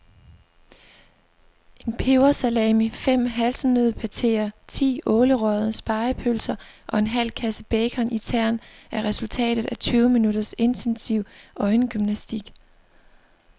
En pebersalami, fem hasselnøddepateer, ti ålerøgede spegepølser og en halv kasse bacon i tern er resultatet af tyve minutters intensiv øjengymnastik.